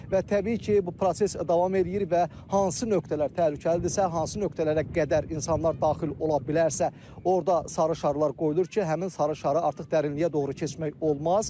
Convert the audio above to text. Və təbii ki, bu proses davam eləyir və hansı nöqtələr təhlükəlidirsə, hansı nöqtələrə qədər insanlar daxil ola bilərsə, orda sarı şarlar qoyulur ki, həmin sarı şarı artıq dərinliyə doğru keçmək olmaz.